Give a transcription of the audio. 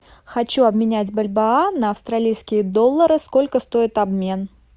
хочу обменять бальбоа на австралийские доллары сколько стоит обмен